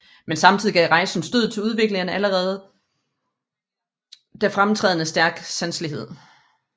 Men samtidig gav rejsen stødet til udvikling af en allerede da fremtrædende stærk sanselighed